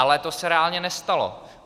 Ale to se reálně nestalo.